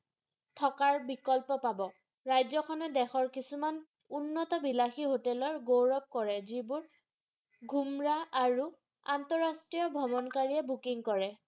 থকাৰ বিকল্প পাব ৰাজ্যখনত দেশৰ কিছুমান উন্নত বিলাসী হোটেলেৰ গৌৰৱ কৰে যিবোৰ ঘুমৰাহ আৰু অন্তৰাষ্ট্ৰীয় ভ্ৰমণকাৰীয়ে Booking কৰে।